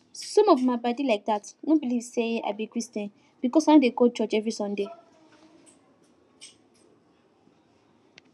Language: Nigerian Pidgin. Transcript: some of my padi like dat no believe say i be christian because i no dey go church every sunday